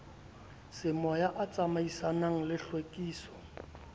semoya a tsamaisanang le tlhwekiso